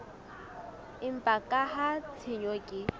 empa ka ha tshenyo ke